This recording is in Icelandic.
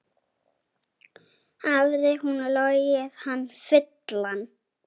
Hafði hún logið hann fullan?